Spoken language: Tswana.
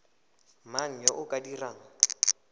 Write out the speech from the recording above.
mang yo o ka dirang